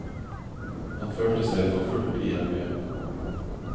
Han følte seg forfulgt i hjembyen.